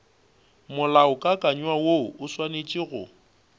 molaokakanywa woo o swanetše go